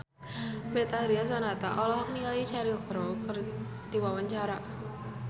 Betharia Sonata olohok ningali Cheryl Crow keur diwawancara